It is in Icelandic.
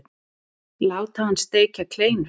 Láta hann steikja kleinur.